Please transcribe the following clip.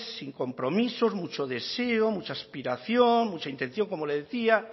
sin compromisos mucho deseo mucha aspiración mucha intención como le decía